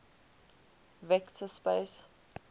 vector space